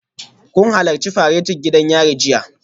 Kun halarci faretin gidan yari jiya?